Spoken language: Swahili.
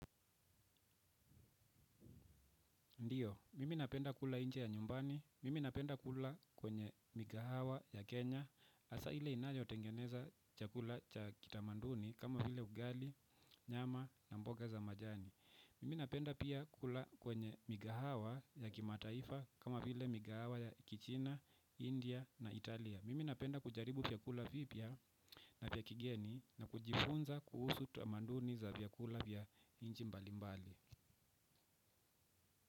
Ndiyo, mimi napenda kula nje ya nyumbani, mimi napenda kula kwenye mikahawa ya Kenya, hasaa ile inayo tengeneza chakula cha kitamanduni kama vile ugali, nyama na mboga za majani. Mimi napenda pia kula kwenye mikahawa ya kimataifa kama vile mikahawa ya Kichina, India na Italia. Mimi napenda kujaribu vyakula vipya na vya kigeni na kujifunza kuhusu tamaduni za vyakula vya nchi mbali mbali.